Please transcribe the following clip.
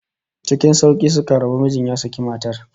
Ckin sauki suka rabu, mijin ya saki matar